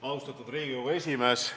Austatud Riigikogu esimees!